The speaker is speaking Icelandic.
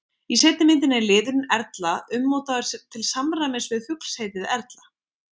í seinni myndinni er liðurinn erla ummótaður til samræmis við fuglsheitið erla